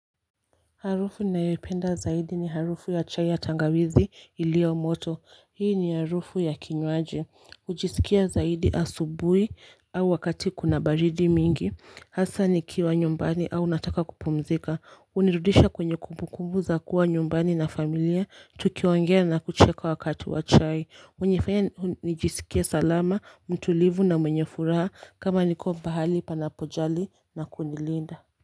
Harufu nayoipenda zaidi ni harufu ya chai ya tangawizi iliyomoto, hii ni harufu ya kinywaji, hujisikia zaidi asubuhi au wakati kuna baridi mingi, hasa nikiwa nyumbani au nataka kupumzika, hunirudisha kwenye kumbukumbu za kuwa nyumbani na familia, tukiongea na kucheka wakati wa chai, unifanya nijisikia salama, mtulivu na mwenye furaha kama niko pahali panapojali na kunilinda.